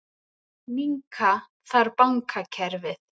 Minnka þarf bankakerfið